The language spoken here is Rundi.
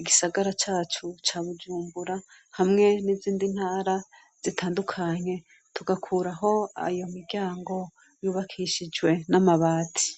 igisagara cacu ca bujumbura hamwe n'izindi ntara zitandukanye tugakuraho ayo miryango yubakishijwe n'amabati.